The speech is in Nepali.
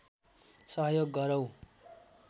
सहयोग गरौँ